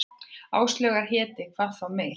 Áslaugar héti, hvað þá meir.